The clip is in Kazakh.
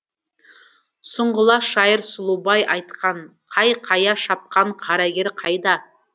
сұңғыла шайыр сұлубай айтқанқайқая шапқан қарагер қайда